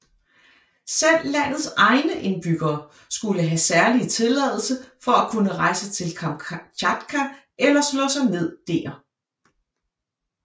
Selv landets egne indbyggere skulle have særlig tilladelse for at kunne rejse til Kamtjatka eller slå sig ned dér